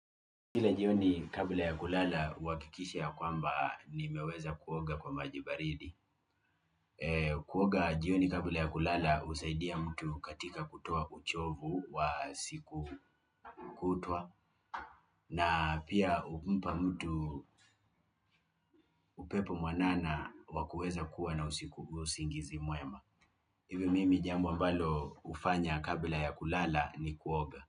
Kila jioni kabla ya kulala hu hakikisha kwamba nimeweza kuoga kwa maji baridi kuoga jioni kabla ya kulala husaidia mtu katika kutoa uchovu wa siku kutwa na pia humpa mtu upepo mwanana wa kuweza kua na usingizi mwema hivyo mimi jambo ambalo hufanya kabla ya kulala ni kuoga.